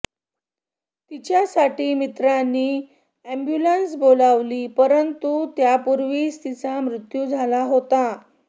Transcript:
तिच्यासाठी मित्रांनी अॅम्बुलन्स बोलावली परंतु त्यापूर्वीच तिचा मृत्यू झाला होता